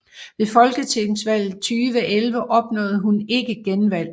Ved Folketingsvalget 2011 opnåede hun ikke genvalg